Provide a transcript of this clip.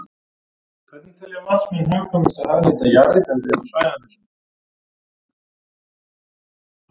Hvernig telja matsmenn hagkvæmast að hagnýta jarðhitaréttindi á svæðum þessum?